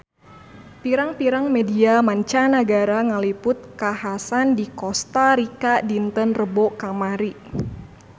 Pirang-pirang media mancanagara ngaliput kakhasan di Kosta Rika dinten Rebo kamari